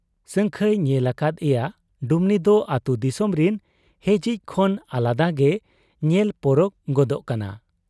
ᱥᱟᱹᱝᱠᱷᱟᱹᱭ ᱧᱮᱞ ᱟᱠᱟᱫ ᱮᱭᱟ ᱰᱩᱢᱱᱤ ᱫᱚ ᱟᱹᱛᱩ ᱫᱤᱥᱚᱢ ᱨᱤᱱ ᱦᱮᱡᱤᱡ ᱠᱷᱚᱱ ᱟᱞᱟᱫᱟ ᱜᱮᱭ ᱧᱮᱞ ᱯᱚᱨᱚᱠ ᱜᱚᱫᱚᱜ ᱠᱟᱱᱟ ᱾